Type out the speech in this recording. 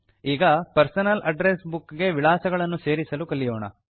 ಈಗ personal address book ಗೆ ವಿಳಾಸಗಳನ್ನು ಸೇರಿಸಲು ಕಲಿಯೋಣ